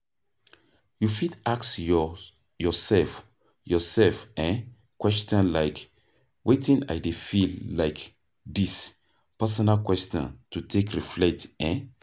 You fit ask your yourself yourself um question like "Wetin I dey feel like this", personal questions to take reflect um